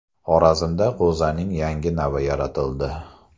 Xorazmda g‘o‘zaning yangi navi yaratildi.